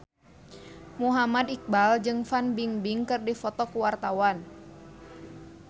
Muhammad Iqbal jeung Fan Bingbing keur dipoto ku wartawan